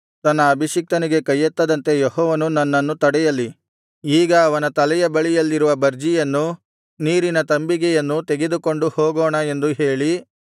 ತನ್ನ ಅಭಿಷಿಕ್ತನಿಗೆ ಕೈಯೆತ್ತದಂತೆ ಯೆಹೋವನು ನನ್ನನ್ನು ತಡೆಯಲಿ ಈಗ ಅವನ ತಲೆಯ ಬಳಿಯಲ್ಲಿರುವ ಬರ್ಜಿಯನ್ನು ನೀರಿನ ತಂಬಿಗೆಯನ್ನೂ ತೆಗೆದುಕೊಂಡು ಹೋಗೋಣ ಎಂದು ಹೇಳಿ